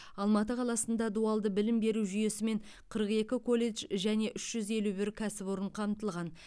алматы қаласында дуалды білім беру жүйесімен қырық екі колледж және үш жүз елу бір кәсіпорын қамтылған